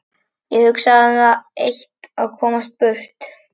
Ég hugsaði um það eitt að komast burt.